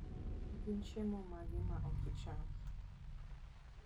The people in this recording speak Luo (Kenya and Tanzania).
Gin chiemo mage ma ok icham?